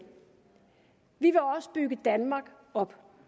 vi vil også bygge danmark op